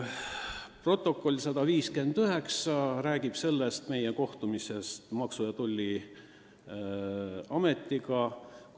Protokoll 159 räägib meie kohtumisest Maksu- ja Tolliametiga.